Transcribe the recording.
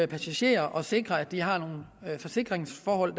passagerer og sikre at de har nogle forsikringsforhold